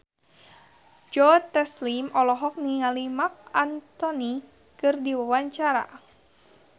Joe Taslim olohok ningali Marc Anthony keur diwawancara